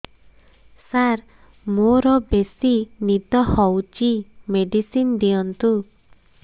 ସାର ମୋରୋ ବେସି ନିଦ ହଉଚି ମେଡିସିନ ଦିଅନ୍ତୁ